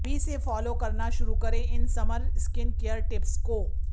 अभी से फॉलो करना शुरू करें इन समर स्किनकेयर टिप्स को